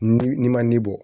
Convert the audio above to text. Ni n'i ma ne bɔ